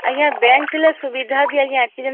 ଆଜ୍ଞା bank ଥିଲେ ସୁବିଧା ବି ଯେ ଆଜ୍ଞା